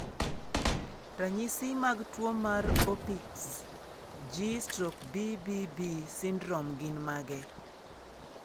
Ranyisi mag tuwo mar Opitz G/BBB syndrome gin mage?